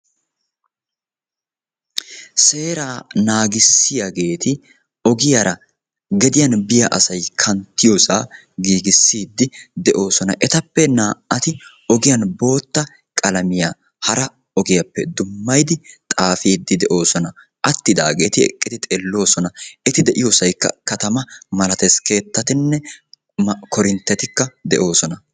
Seera naagissiyageeti ogiyaara gediyan biya asay kanttiyoosa giigissidi de"oosona. Etappe naa"ati ogiyan bootta qalamiya hara ogiyaappe dummayddi xaafidi de"oosona. Attidaageeti eqqidi xeellosona. Eti de'iyoosaykka katamaa malatees, ķeettatinne korinttetikka de'oosona.